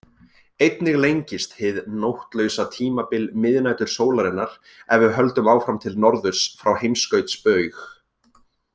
Einnig lengist hið nóttlausa tímabil miðnætursólarinnar ef við höldum áfram til norðurs frá heimskautsbaug.